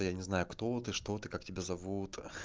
да я не знаю кто ты что ты как тебя зовут ха